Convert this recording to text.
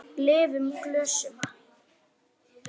Lyftum glösum!